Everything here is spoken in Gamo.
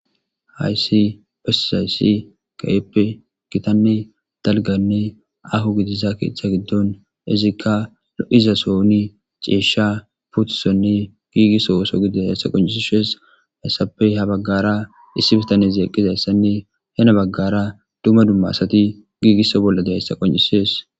Hayssi pes hayssi kayeppe gitanne dalganne ahu gidisa keethcha giddon izikka lo'iza souni ceesha putusonne giigisso wooso gide hessa qoncisishees hayssapey ha baggara issi bitaneszeeqqizayssanne hena baggara duma dumma asati giigisso bolla de hessa qoncisees.